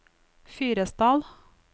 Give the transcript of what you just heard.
Fyresdal